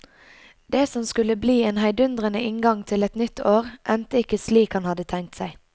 Det som skulle bli en heidundrende inngang til et nytt år, endte ikke slik han hadde tenkt seg.